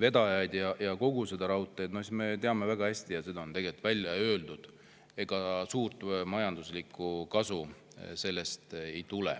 vedajaid ja kogu seda raudteed, siis me teame väga hästi – seda on ka välja öeldud –, et ega suurt majanduslikku kasu sellest ei tule.